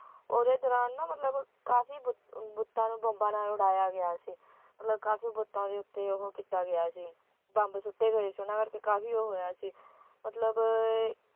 ਓਹਦੇ ਦੌਰਾਨ ਨਾ ਮਤਲਬ ਕਾਫੀ ਬੁੱਤ ਬੁੱਤਾਂ ਨੂੰ ਬੰਬਾਂ ਨਾਲ ਉਡਾਇਆ ਗਿਆ ਸੀ ਮਤਲਬ ਕਾਫੀ ਬੁੱਤਾਂ ਦੇ ਉਤੇ ਉਹ ਕੀਤਾ ਗਿਆ ਸੀ ਬੰਬ ਸੁੱਟੇ ਗਏ ਸੀ ਉਹਨਾਂ ਕਰਕੇ ਕਾਫੀ ਉਹ ਹੋਇਆ ਸੀ ਮਤਲਬ